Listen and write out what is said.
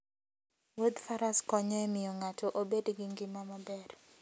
Wuodh Faras konyo e miyo ng'ato obed gi ngima maber.